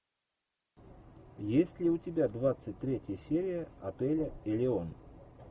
есть ли у тебя двадцать третья серия отеля элеон